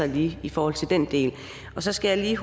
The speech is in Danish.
lige i forhold til den del så skal jeg